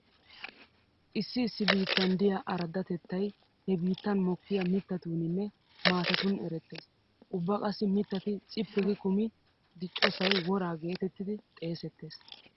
Issi issi biittan diya araddatettay he biittan mokkiya mittatuuninne maatatun erettees. Ubba qassi mittati cippi gi kumi diccosay woraa geetettidi xeesettees.